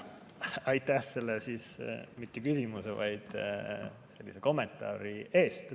Aitäh selle mitte küsimuse, vaid sellise kommentaari eest!